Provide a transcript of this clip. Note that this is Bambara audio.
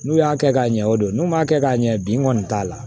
N'u y'a kɛ ka ɲɛ o don n'u m'a kɛ k'a ɲɛ bi n kɔni t'a la